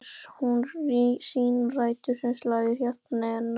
Hér á hún sínar rætur, hér slær hjarta hennar.